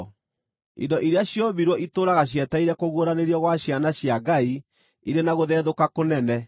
Indo iria ciombirwo itũũraga cietereire kũguũranĩrio gwa ciana cia Ngai irĩ na gũthethũka kũnene.